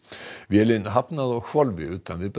vélin hafnaði á hvolfi utan við